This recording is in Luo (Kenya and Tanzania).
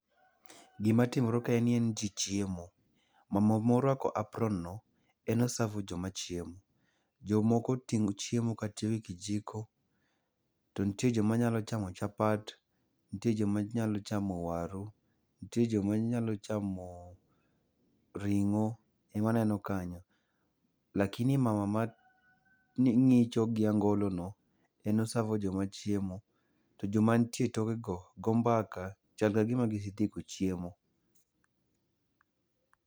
Gima timore kae ni en ni jii chiemo. Mama moruako apronno en osavo joma chiemo. Jomoko oting'o chiemo katiyogi kijiko, to nitie joma nyalo chamo chapat, nitie joma nyalo chamo waru, nitie joma nyalo chamoo ring'o ema aneno kanyo. Lakini mama ma mang'icho gi angolono, en osavo joma chiemo to joma nitie etokego go mbaka chal ka gima gisetieko chiemo.